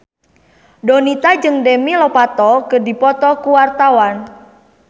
Donita jeung Demi Lovato keur dipoto ku wartawan